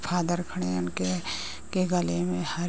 father खड़े है उनके उनके गले में हार--